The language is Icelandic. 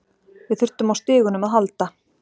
Við þurftum á stigunum að halda.